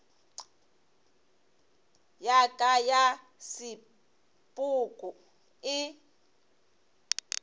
ya ka ya sepoko e